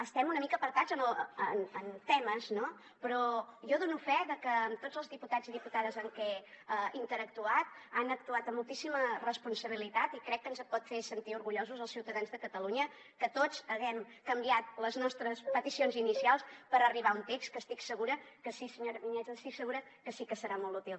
estem una mica apartats en temes no però jo dono fe de que amb tots els diputats i diputades amb què he interactuat han actuat amb moltíssima responsabilitat i crec que ens pot fer sentir orgullosos als ciutadans de catalunya que tots haguem canviat les nostres peticions inicials per arribar a un text que estic segura que sí senyora vinyets estic segura que sí que serà molt útil